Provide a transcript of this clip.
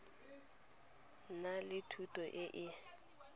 na le thuto e e